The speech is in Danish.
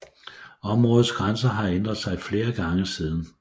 Områdets grænser har ændret sig flere gange siden